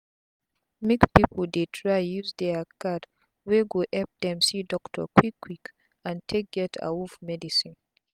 make pipu dey try use dia card wey go epp dem see doctor quick quick and take get awoof medicine